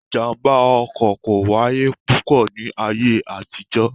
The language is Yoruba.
Ìjàmbá ọkọ̀ kò wáyé púpọ̀ ni ayé àtijọ́